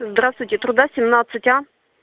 здравствуйте труда семнадцать а